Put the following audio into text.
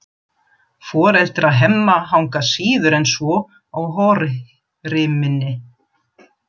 Foreldrar Hemma hanga síður en svo á horriminni.